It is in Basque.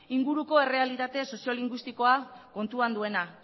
inguruko errealitate soziolingüistikoa kontuan duena